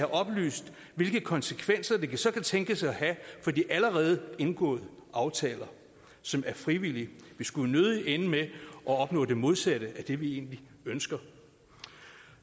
oplyst hvilke konsekvenser det så kan tænkes at have for de allerede indgåede aftaler som er frivillige vi skulle nødig ende med at opnå det modsatte af det vi egentlig ønsker